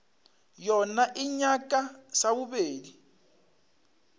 yona e nyaka sa bobedi